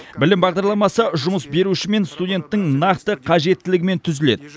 білім бағдарламасы жұмыс беруші мен студенттің нақты қажеттілігімен түзіледі